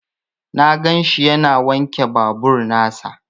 Na ganshi yana wanke babur nasa.